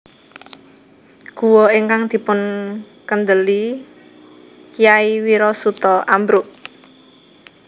Guwa ingkang dipunkèndeli Kyai Wirasuta ambruk